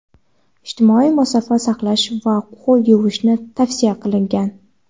ijtimoiy masofa saqlash va qo‘l yuvishni tavsiya qilgan.